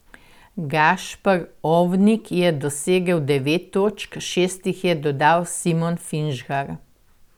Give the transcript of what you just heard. Gašper Ovnik je dosegel devet točk, šest jih je dodal Simon Finžgar.